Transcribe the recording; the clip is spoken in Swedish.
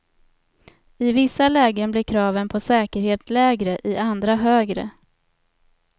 I vissa lägen blir kraven på säkerhet lägre, i andra högre.